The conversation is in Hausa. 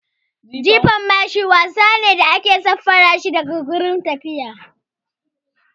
Jefa mashi wasa ne na sarari da ya haɗa da jifan mashi da ake yi iyaka ƙarfin da zaka iya.